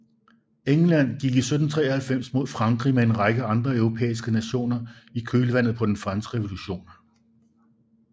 England gik i 1793 mod Frankrig med en række andre europæiske nationer i kølvandet på den franske revolution